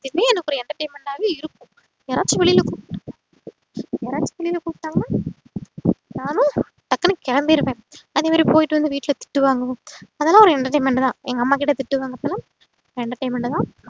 எனக்கு ஒரு entertainment ஆவே இருக்கும் யாராச்சும் வெளில யாராச்சும் வெளில கூப்டாங்கனா நானும் டக்குனு கெளம்பிருவேன் அதேமாறி போயிட்டு வந்து வீட்ல திட்டுவான்கனும் அதலாம் ஒரு entertainment தான் எங்க அம்மாகிட்டதிட்டு வாங்குறப்போலாம் entertainment தான்